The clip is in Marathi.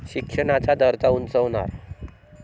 शिक्षणाचा दर्जा उंचावणार